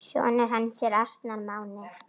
Sonur hans er Arnar Máni.